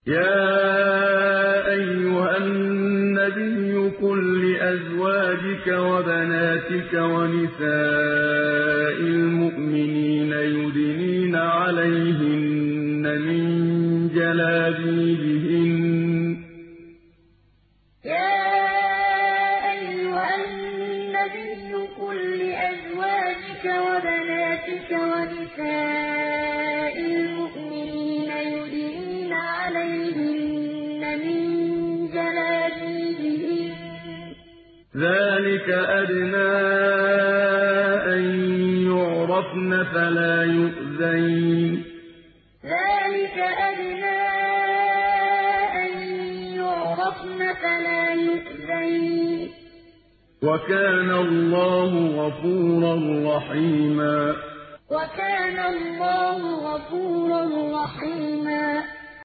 يَا أَيُّهَا النَّبِيُّ قُل لِّأَزْوَاجِكَ وَبَنَاتِكَ وَنِسَاءِ الْمُؤْمِنِينَ يُدْنِينَ عَلَيْهِنَّ مِن جَلَابِيبِهِنَّ ۚ ذَٰلِكَ أَدْنَىٰ أَن يُعْرَفْنَ فَلَا يُؤْذَيْنَ ۗ وَكَانَ اللَّهُ غَفُورًا رَّحِيمًا يَا أَيُّهَا النَّبِيُّ قُل لِّأَزْوَاجِكَ وَبَنَاتِكَ وَنِسَاءِ الْمُؤْمِنِينَ يُدْنِينَ عَلَيْهِنَّ مِن جَلَابِيبِهِنَّ ۚ ذَٰلِكَ أَدْنَىٰ أَن يُعْرَفْنَ فَلَا يُؤْذَيْنَ ۗ وَكَانَ اللَّهُ غَفُورًا رَّحِيمًا